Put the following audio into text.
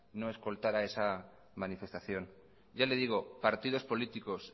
no escoltará esa manifestación ya le digo partidos políticos